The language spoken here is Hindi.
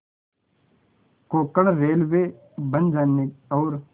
कोंकण रेलवे बन जाने और